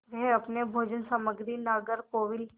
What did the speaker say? वे अपनी भोजन सामग्री नागरकोविल